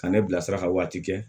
Ka ne bilasira ka waati kɛ